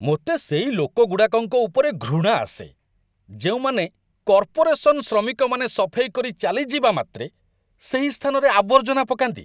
ମୋତେ ସେଇ ଲୋକଗୁଡ଼ାକଙ୍କ ଉପରେ ଘୃଣା ଆସେ, ଯେଉଁମାନେ, କର୍ପୋରେସନ୍ ଶ୍ରମିକମାନେ ସଫେଇ କରି ଚାଲିଯିବା ମାତ୍ରେ ସେହି ସ୍ଥାନରେ ଆବର୍ଜନା ପକାନ୍ତି।